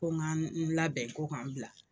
Ko n ka n labɛn bɛn ko ka n bila